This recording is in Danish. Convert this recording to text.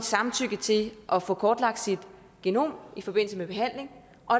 samtykke til at få kortlagt sit genom i forbindelse med behandling og